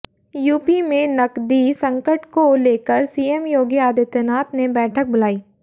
UP में नकदी सकंट को लेकर सीएम योगी आदित्यनाथ ने बैठक बुलाई